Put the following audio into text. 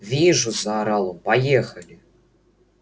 вижу заорал он поехали